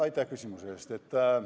Aitäh küsimuse eest!